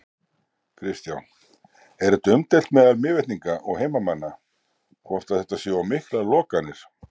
Kristján: Er þetta umdeilt meðal Mývetninga og heimamanna, hvort að þetta séu of miklar lokanir?